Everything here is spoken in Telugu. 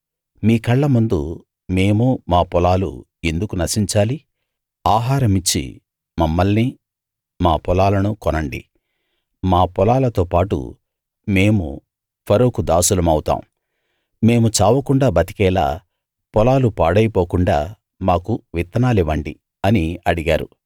మీ కళ్ళముందు మేమూ మా పొలాలు ఎందుకు నశించాలి ఆహారమిచ్చి మమ్మల్నీ మా పొలాలనూ కొనండి మా పొలాలతో పాటు మేము ఫరోకు దాసులమవుతాం మేము చావకుండా బతికేలా పొలాలు పాడైపోకుండా మాకు విత్తనాలివ్వండి అని అడిగారు